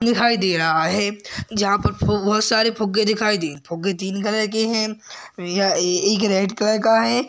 दिखाई दे रहा है जहाँ पर बहुत सारे फुग्गे दिखाई दे फुग्गे तीन कलर के हैं। यह एक रेड कलर का है।